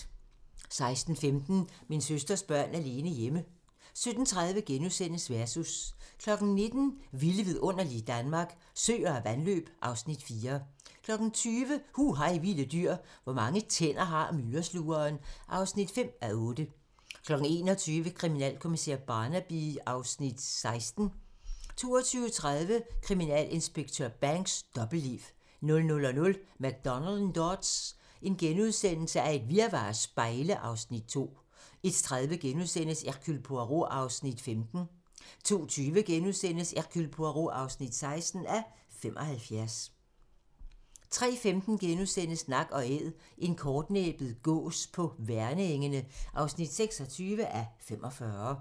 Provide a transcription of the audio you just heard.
16:15: Min søsters børn alene hjemme 17:30: Versus * 19:00: Vilde vidunderlige Danmark - Søer og vandløb (Afs. 4) 20:00: Hu hej vilde dyr: Hvor mange tænder har myreslugeren? (5:8) 21:00: Kriminalkommissær Barnaby XVI 22:30: Kriminalinspektør Banks: Dobbeltliv 00:00: McDonald og Dodds: Et virvar af spejle (Afs. 2)* 01:30: Hercule Poirot (15:75)* 02:20: Hercule Poirot (16:75)* 03:15: Nak & Æd - en kortnæbbet gås på Værnengene (26:45)*